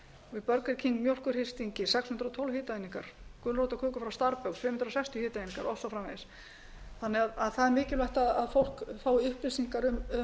stórum burger king mjólkurhristingi sex hundruð og tólf hitaeiningar og í gulrótarköku hjá starbucks fimm hundruð sextíu hitaeiningar og svo framvegis það er mikilvægt að fólk fái upplýsingar um